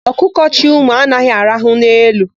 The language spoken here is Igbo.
Ọkụkọ chị ụmụ anaghị araha n'elu.